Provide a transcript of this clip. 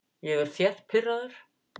Ég er þétt pirraður.